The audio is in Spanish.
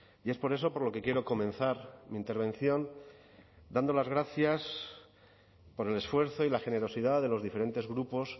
y es por eso por lo que quiero comenzar mi intervención dando las gracias por el esfuerzo y la generosidad de los diferentes grupos